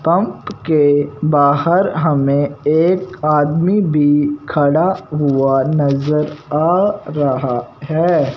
Pump के बाहर हमें एक आदमी भी खड़ा हुआ नजर आ रहा है।